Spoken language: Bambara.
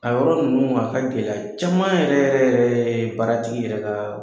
A yɔrɔ ninnu bɛ ka kɛ gɛlɛya caman yɛrɛ baaratigi yɛrɛ ka.